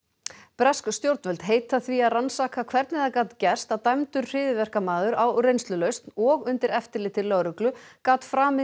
bresk stjórnvöld heita því að rannsaka hvernig það gat gerst að dæmdur hryðjuverkamaður á reynslulausn og undir eftirliti lögreglu gat framið